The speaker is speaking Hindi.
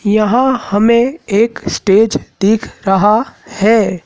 यहां हमें एक स्टेज दिख रहा है।